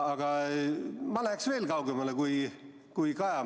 Aga ma läheksin veel kaugemale kui Kaja.